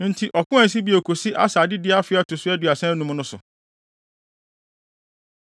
Enti ɔko ansi bio kosii Asa adedi afe a ɛto so aduasa anum no so.